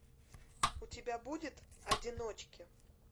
у тебя будет одиночки